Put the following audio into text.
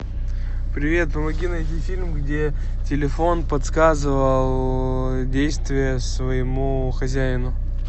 привет помоги найти фильм где телефон подсказывал действия своему хозяину